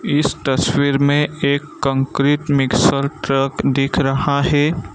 इस तस्वीर में एक कंक्रीट मिक्सर ट्रक दिख रहा हैं।